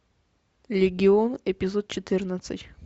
легион эпизод четырнадцать